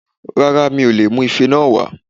Rárá mi ò leè mú ife náà wá